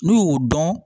N'u y'o dɔn